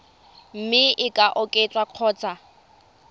mme e ka oketswa kgotsa